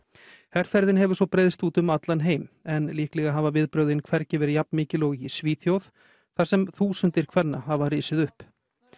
herferðin hefur svo breiðst út um allan heim en líklega hafa viðbrögðin ekki verið jafn mikil og í Svíþjóð þar sem þúsundir kvenna hafa risið upp